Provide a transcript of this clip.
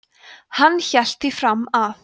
hann hélt því fram að